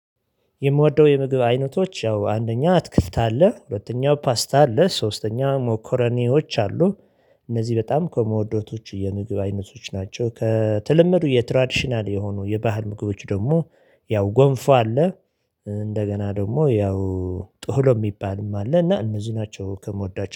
የምወደው የምግብ አይነቶች ያው አንደኛ አትክልት አለ ሁለተኛው ፓስታ አለ ሶስተኛው ሞኮረኔዎች አሉ እነዚህ በጣም ከምውዳቸው የምግብ አይነቶች ናቸው። ከተለመዱ የትራዲሽናል የሆኑ የባህል ምግቦች ደግሞ ያው ጎንፎ አለ። እንደገና ደግሞ ያው ጥህሎ የሚባልም አለ። እና እነዚህ ናቸው ከምወዷቸው